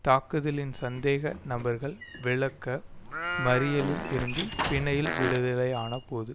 தாக்குதலின் சந்தேக நபர்கள் விளக்க மறியலில் இருந்து பிணையில் விடுதலை ஆன போது